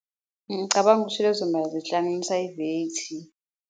Ngicabanga ukuthi lezo mali zihlanganisa i-V_A_T.